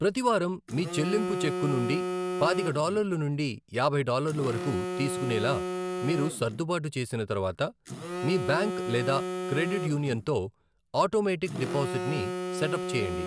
ప్రతి వారం మీ చెల్లింపు చెక్కు నుండి పాతిక డాలర్లు నుండి యాభై డాలర్లు వరకు తీసుకునేలా మీరు సర్దుబాటు చేసిన తర్వాత, మీ బ్యాంక్ లేదా క్రెడిట్ యూనియన్తో ఆటోమేటిక్ డిపాజిట్ని సెటప్ చేయండి.